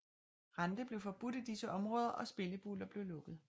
Rente blev forbudt i disse områder og spillebuler blev lukket